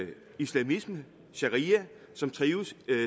islamisme og sharia som trives